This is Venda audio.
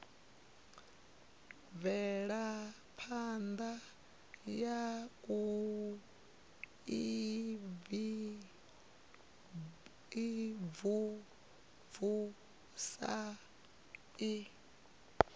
mvelaphana ya u imvumvusa i